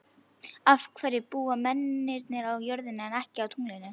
Af hverju búa mennirnir á jörðinni en ekki á tunglinu?